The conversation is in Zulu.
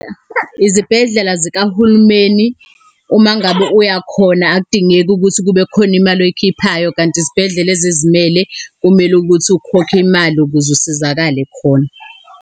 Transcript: Izibhedlela zikahulumeni, uma ngabe uya khona akudingeki ukuthi kube khona imali oyikhiphayo, kanti izibhedlela ezizimele kumele ukuthi ukhokhe imali ukuze usizakale khona.